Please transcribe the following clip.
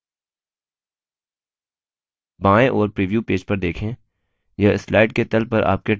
बाएं ओर preview page पर देखें यह slide के तल पर आपके टाइप किए हुए note दिखाएगा